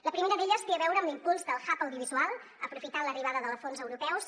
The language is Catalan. la primera d’elles té a veure amb l’impuls del hub audiovisual aprofitant l’arri·bada de fons europeus